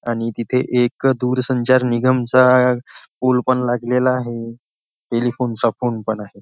आणि तिथे एक दूरसंचार निगमचा पूल पण लागलेला आहे टेलिफोनचा फोन पण आहे.